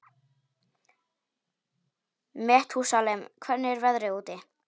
Methúsalem, hvernig er veðrið úti?